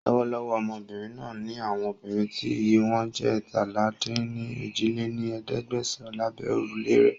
Lọ́wọ́lọ́wọ́ Ọmọbìnrin náà ńi àwọn obìnrin tí iye wọn jẹ́ eétalá-dín-ní-ojì lé ní ẹ̀ẹ́dẹ́gbẹ́sán lábẹ́ órùlé rẹ́